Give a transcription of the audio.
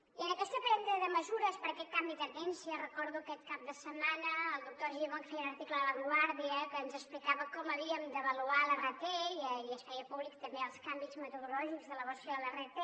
i en aquesta presa de mesures per aquest canvi de tendència recordo aquest cap de setmana el doctor argimon que feia un article a la vanguardia que ens explicava com havíem d’avaluar l’rt i es feien públics també els canvis metodològics de l’avaluació de l’rt